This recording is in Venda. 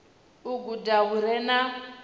u guda hu re na